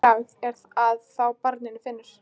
Bragð er að þá barnið finnur!